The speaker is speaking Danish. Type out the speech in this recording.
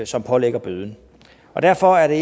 som pålægger bøden og derfor er